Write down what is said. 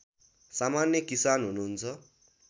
सामान्य किसान हुनुहुन्छ